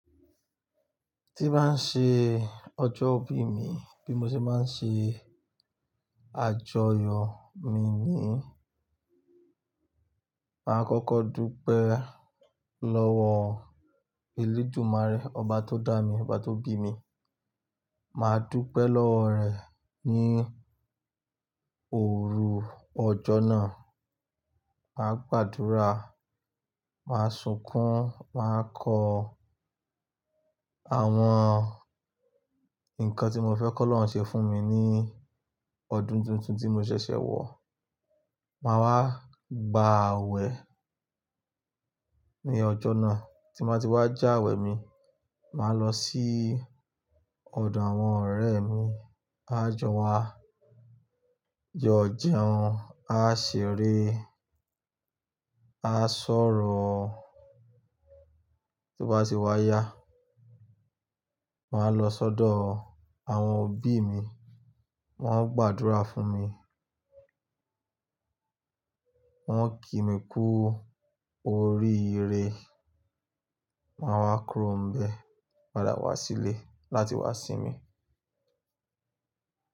Tí bá n ṣe ọjọ́ òbí mi, bí mo ṣe máa n ṣe àjọyọ̀ mi ni, màá kọ́kọ́ dúpẹ́ lọ́wọ́ Elédùmàré, ọba tó dá mi, ọba tó bí mi. Màá dúpẹ́ lọ́wọ́ rẹ̀ ní òru ọjọ́ náà. Màá gbàdúrà, màá sunkún, màá kọ àwọn nǹkan tí mo fẹ́ kí Ọlọ́run ṣe fún mi ní ọdún tuntun tí mo ṣẹ̀ṣẹ̀ wọ. Màá wá gba awẹ ní ọjọ́ náà, tí n ba ti wá já awẹ mi, màá lọ sí ọ̀dọ̀ àwọn ọ̀rẹ́ mi. A jọ wá jọ̀ jeun, á ṣeré, á sọ̀rọ̀. Tí o bá ti wá yá, màá lọ sọ́dọ̀ àwọn òbí mi, wọ́n o gbàdúrà fún mi, wọ́n kì mi kú oríire. Màá wá kúrò ńibẹ, padà wá sí ilé láti wá sínmi.